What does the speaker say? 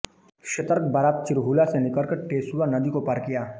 सतर्क बारात चिरहुला से निकलकर टेसुआ नदी को पार किया